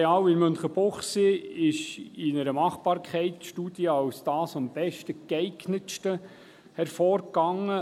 Das Areal in Münchenbuchsee ging in einer Machbarkeitsstudie als das am besten geeignete hervor.